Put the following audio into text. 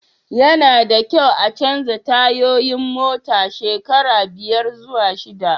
Ya na da kyau a chanja tayoyin mota shekara biyar zuwa shida